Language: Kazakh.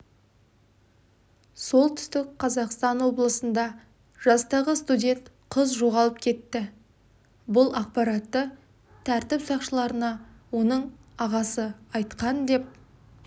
солтүстік қазақстан облысында жастағы студент қыз жоғалып кетті бұл ақпаратты тәртіп сақшыларына оның ағасы айтқан деп